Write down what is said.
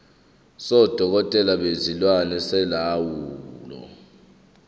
sodokotela bezilwane solawulo